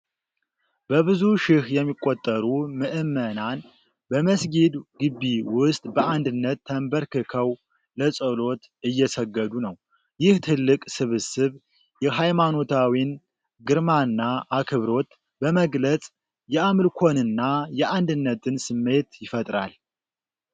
በብዙ ሺህ የሚቆጠሩ ምዕመናን በመስጊድ ግቢ ውስጥ በአንድነት ተንበርክከው ለጸሎት እየሰገዱ ነው። ይህ ትልቅ ስብስብ የሃይማኖታዊን ግርማና አክብሮት በመግለጽ የአምልኮንና የአንድነትን ስሜት ይፈጥራል።